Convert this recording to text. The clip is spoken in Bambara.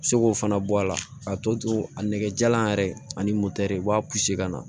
Seg'o fana bɔ a la k'a to to to a nɛgɛjalan yɛrɛ ani i b'a ka na